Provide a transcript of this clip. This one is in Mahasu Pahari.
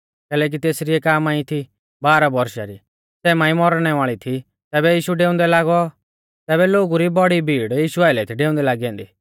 कैलैकि तेसरी एका मांई थी बारह बौरशा री सै मांई मौरणै वाल़ी थी ज़ैबै यीशु डेऊंदै लागौ तैबै लोगु री बौड़ी भीड़ यीशु आइलै थी डेऊंदै लागी ऐन्दी